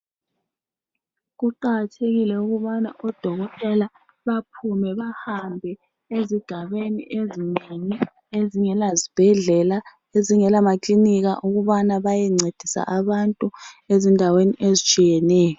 Kuqakathekile ukubana oDokotela baphume bahambe ezigabeni ezinengi ezingela zibhedlela , ezingela maklinika ukubana bayencedisa abantu ezindaweni ezitshiyeneyo.